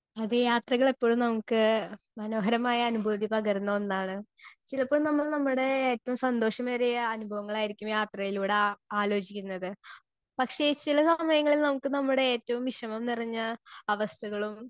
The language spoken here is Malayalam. സ്പീക്കർ 2 അതെ യാത്രകൾ എപ്പൊഴും നമ്മുക്ക് മനോഹരമായ അനുബോധി പകരുന്ന ഒന്നാണ് ചിലപ്പോൾ നമ്മൾ നമ്മുടെ ഏറ്റവും സന്തോഷമേറിയ അനുഭവങ്ങളായിരിക്കും യാത്രയിലൂടെ ആ ആലോചിക്കുന്നത് പക്ഷെ ചില സമയങ്ങളിൽ നമ്മുക്ക് നമ്മുടെ ഏറ്റവും വിഷമം നിറഞ്ഞ അവസ്ഥകളും